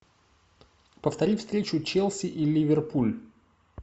повтори встречу челси и ливерпуль